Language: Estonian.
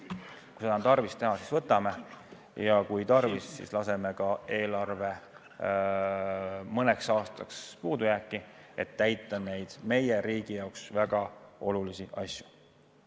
Kui seda on tarvis teha, siis võtame, ja kui on tarvis, siis laseme ka eelarve mõneks aastaks puudujääki, et teha neid meie riigi jaoks väga olulisi asju.